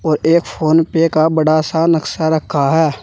और एक फोन पे का बड़ा सा नक्शा रखा है।